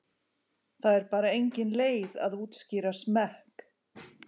Það er bara engin leið að útskýra smekk.